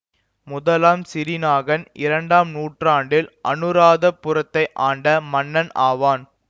முதலாம் சிறிநாகன் இரண்டாம் நூற்றாண்டில் அநுராதபுரத்தை ஆண்ட மன்னன் ஆவான்